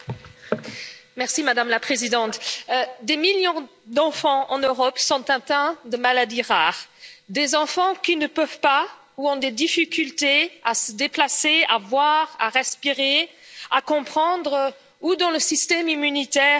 Madame la Présidente, des millions d'enfants en Europe sont atteints de maladies rares, des enfants qui ne peuvent pas ou ont des difficultés à se déplacer à voir, à respirer, à comprendre ou dont le système immunitaire est fragilisé.